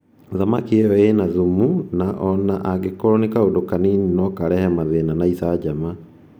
Thamaki ĩyo ĩna thumu na o na angĩkorũo nĩ kaũndũ kanini nokarehe mathĩna na icanjama. icanjama